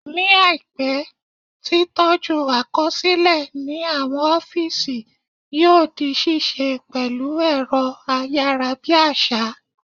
Ní àìpé, tí tọ́jú àkọsílẹ̀ ní àwọn ọ́físì yóò di ṣíṣe pẹ̀lú ẹ̀rọ ayárabíàṣá